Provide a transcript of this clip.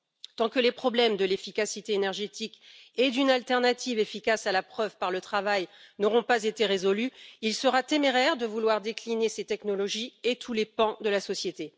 Tant que les problèmes de l'efficacité énergétique et d'une alternative efficace à la preuve par le travail n'auront pas été résolus, il sera téméraire de vouloir décliner ces technologies à tous les pans de la société.